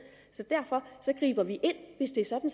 så derfor griber vi ind hvis det er sådan